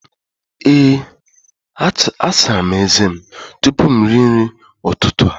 Ee, agara m ezé tupu m erie nri ụtụtụ a.